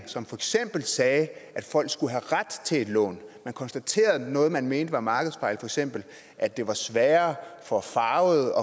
som for eksempel sagde at folk skulle have ret til et lån man konstaterede noget man mente var markedsfejl for eksempel at det var sværere for farvede